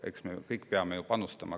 Eks me kõik peame panustama.